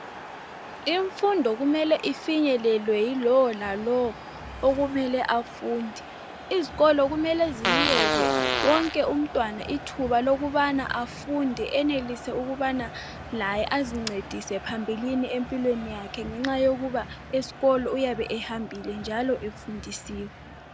imfundo kumele ifinyelelwe ngulowo lalowo okumele afunde izikolo kumele zinikeze wonke umntwana lokubana afunde enelise ukubana laye azincedise phambilini empilweni yakhe ngenxa yokuba esikolo uyabe ehambile njalo efundisiwe